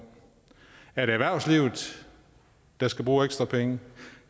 er det erhvervslivet der skal bruge ekstra penge